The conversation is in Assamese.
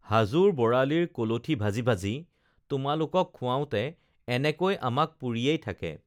হাজোৰ বৰালীৰ কলঠী ভাজি ভাজি তোমালোকক খুৱাওতে এনেকৈ আমাক পুৰিয়েই থাকে